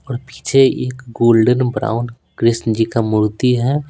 और पीछे एक गोल्डन ब्राउन कृष्ण जी का मूर्ति है।